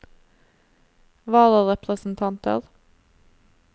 vararepresentanter